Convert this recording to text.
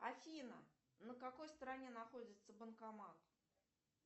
афина на какой стороне находится банкомат